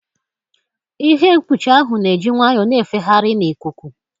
Ihe mkpuchi ahụ na-eji nwayọọ na-efegharị n'ikuku.